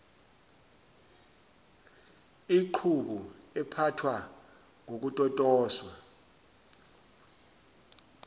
iqhubu ephathwa ngokutotoswa